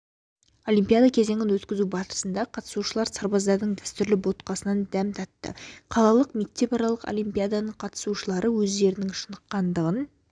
олимпиада кезеңін өткізу барысында қатысушылыр сарбаздардың дәстүрлі ботқасынан дәм татты қалалық мектепаралық олимпиаданың қатысушылары өздерінің шыныққандығын